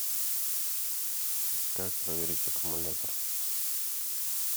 как проверить аккумулятор